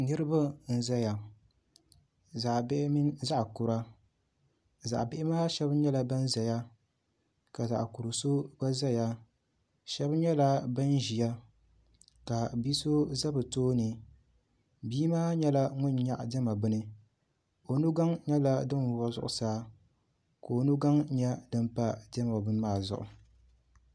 Niraba n ʒɛya zaɣ bihi mini zaɣ kura zaɣ bihi maa shab nyɛla bin ʒɛya ka zaɣ kuri so gba ʒɛya shab nyɛla bin ʒiya ka bia so ʒɛ bi tooni bia maa nyɛla ŋun nyaɣa diɛma bini o nugaŋ nyɛla din wuɣi zuɣusaa ka o nu gaŋ nyɛ din pa diɛma bini maa zuɣu